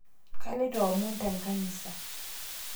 Kaloito amon tenkanisa